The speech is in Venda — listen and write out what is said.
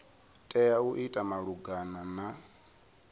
tea u ita malugana na